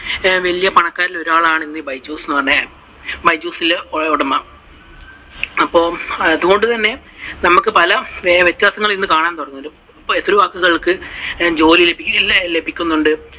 വലിയ പണക്കാരിൽ ഒരാളാണ് ഇന്ന് ഈ ബൈജുസ് എന്ന് പറയുന്ന ആൾ. ബൈജൂസിന്റെ ഉടമ. അപ്പൊ അതുകൊണ്ടു തന്നെ നമുക്ക് പല വ്യത്യാസങ്ങളും ഇന്ന് കാണാൻ സാധിച്ചു. ജോലി ലഭിക്കുന്നുണ്ട്.